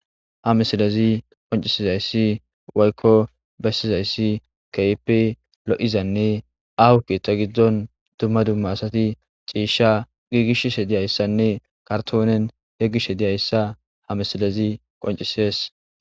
Ha misilazi qoncisizayssi woykko bessizayssi keype lo'izanne ahukethta giddon dumma dumma asati ciisha giigishs he diyayssanne kartoonen yeggish he diyayssa ha misilezi qoncisees.